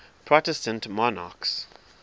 protestant monarchs